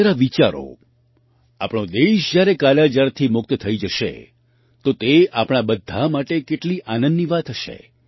જરા વિચારો આપણો દેશ જ્યારે કાલાજારથી મુક્ત થઈ જશે તો તે આપણા બધા માટે કેટલી આનંદની વાત હશે